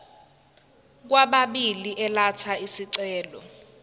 kwababili elatha isicelo